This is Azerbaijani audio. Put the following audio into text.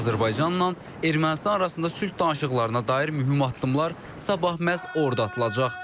Azərbaycanla Ermənistan arasında sülh danışıqlarına dair mühüm addımlar sabah məhz orada atılacaq.